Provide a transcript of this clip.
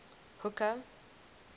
hooker